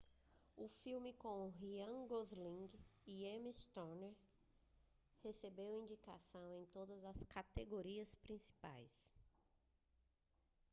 o filme com ryan gosling e emma stone recebeu indicações em todas as categorias principais